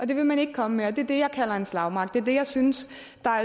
det vil man ikke komme med og det er det jeg kalder en slagmark det er det jeg synes